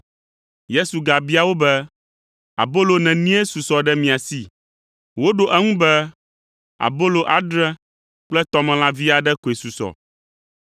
Yesu gabia wo be, “Abolo nenie susɔ ɖe mia si?” Woɖo eŋu be, “Abolo adre kple tɔmelã vi aɖe koe susɔ.”